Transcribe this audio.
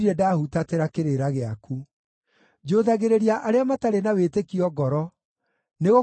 Njũthagĩrĩria arĩa matarĩ na wĩtĩkio ngoro, nĩgũkorwo matiathĩkagĩra kiugo gĩaku.